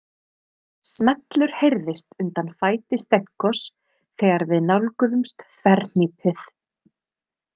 Smellur heyrðist undan fæti Stenkos þegar við nálguðumst þverhnípið.